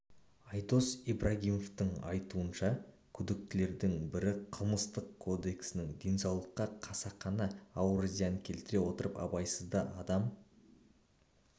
айдос ибрагимовтың айтуынша күдіктілердің бірі қылмыстық кодексінің денсаулыққа қасақана ауыр зиян келтіре отырып абайсызда адам